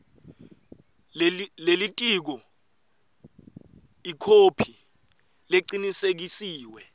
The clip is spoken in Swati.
lelitiko ikhophi lecinisekisiwe